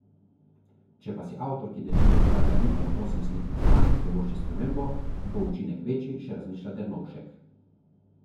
Če pa si avtor, ki denimo uporablja ritem osem slik na stran, privošči spremembo, bo učinek večji, še razmišlja Dernovšek.